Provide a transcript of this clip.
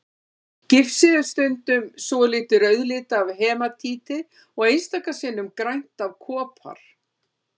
Gifsið er stundum svolítið rauðlitað af hematíti og einstaka sinnum grænt af kopar.